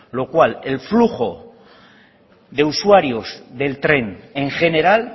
lo cual el flujo de usuarios del tren en general